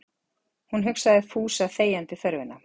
Hún hugsaði Fúsa þegjandi þörfina.